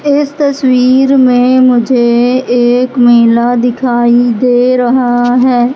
इस तस्वीर में मुझे एक मेला दिखाई दे रहा है।